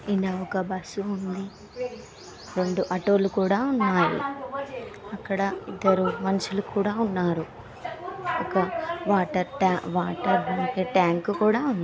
ఇన ఒక బస్సు ఉంది రెండు ఆటలు కుడా ఉన్నాయి ఈక్కడ ఇద్దరు మనుషులు కూడా ఉన్నారు ఒక వాటర్వా-వాటర్ లాంటి ట్యాంక్ కూడా ఉంది.